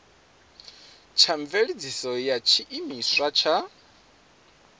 tsha mveledziso ya tshiimiswa tsha